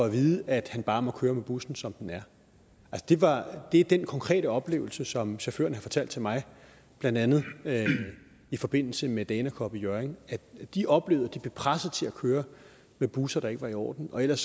at vide at han bare må køre med bussen som den er det er den konkrete oplevelse som chaufførerne har fortalt til mig blandt andet i forbindelse med dana cup i hjørring de oplevede at de blev presset til at køre med busser der ikke var i orden og ellers